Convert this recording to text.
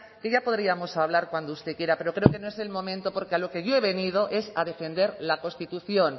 que ya podríamos hablar cuando se quiera pero creo que no es el momento porque a lo que yo he venido es a defender la constitución